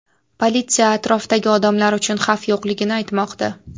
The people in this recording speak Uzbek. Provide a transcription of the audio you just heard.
Politsiya atrofdagi odamlar uchun xavf yo‘qligini aytmoqda.